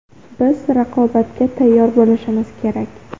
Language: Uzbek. Biz raqobatga tayyor bo‘lishimiz kerak.